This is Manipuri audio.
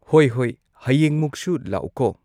ꯍꯣꯏ ꯍꯣꯏ ꯍꯌꯦꯡꯃꯨꯛꯁꯨ ꯂꯥꯛꯎꯀꯣ